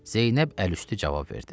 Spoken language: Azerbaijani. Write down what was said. Zeynəb əlüstü cavab verdi.